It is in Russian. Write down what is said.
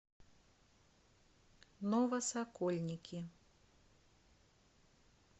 новосокольники